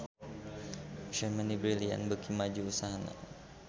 Germany Brilliant beuki maju usahana